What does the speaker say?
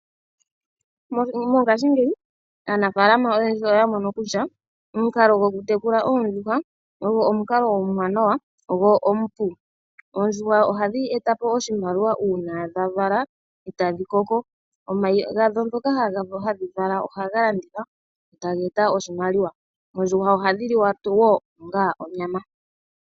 Mongaashingeyi aanafaalama oyendji oya mono kutya omukalo gwoku tekula oondjuhwa, ogo omukalo omuwanawa gwo omupu, oondjuhwa ohadhi etapo oshimaliwa uuna dha vala etadhi koko, omayi gadho ngoka hadhi vala ohaga landithwa taga eta oshimaliwa, oondjuhwa ohadhi liwa tuu onga onyama